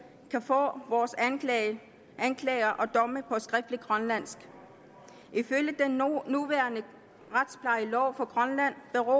kan få vores anklager og grønlandsk ifølge den nuværende retsplejelov for grønland beror